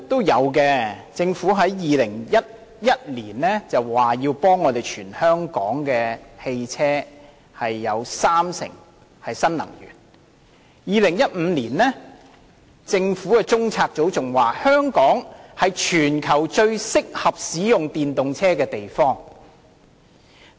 有的，在2011年，政府表示要將全香港三成的汽車更換為使用新能源的車輛；在2015年，政府的中央政策組更表示，香港是全球最適合使用電動車的地方。